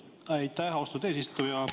Aitäh, austatud eesistuja!